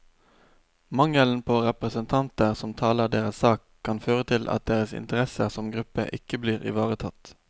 Mangelen på representanter som taler deres sak, kan føre til at deres interesser som gruppe ikke blir ivaretatt.